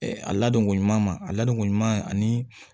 a ladonko ɲuman a ladonko ɲuman ani